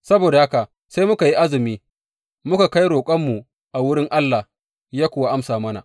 Saboda haka sai muka yi azumi, muka kai roƙonmu a wurin Allah, ya kuwa amsa mana.